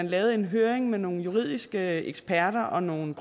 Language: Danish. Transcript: lavede en høring med nogle juridiske eksperter og nogle